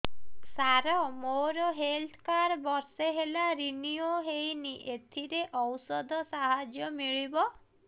ସାର ମୋର health card ବର୍ଷେ ହେଲା ରିନିଓ ହେଇନି ଏଥିରେ ଔଷଧ ସାହାଯ୍ୟ ମିଳିବ